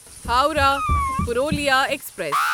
Howrah Purulia express